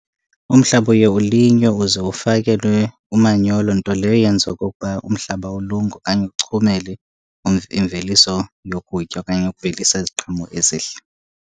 Umhlaba uye ulinywe uze ufakelelwe umanyolo, nto leyo eyenza okokuba umhlaba ulunge okanye uchumele imveliso yokutya okanye ukuvelisa iziqhamo ezihle.